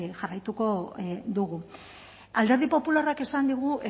jarraituko dugu alderdi popularrak esan digu